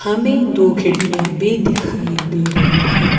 हमे दो खिड़कियां भी दिखाई दे रही हैं।